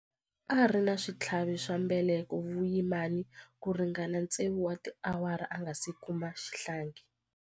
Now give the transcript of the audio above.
A ri na switlhavi swa mbeleko vuyimani ku ringana tsevu wa tiawara a nga si kuma xihlangi.